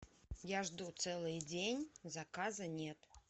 я жду целый день заказа нет